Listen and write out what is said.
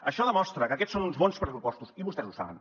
això demostra que aquests són uns bons pressupostos i vostès ho saben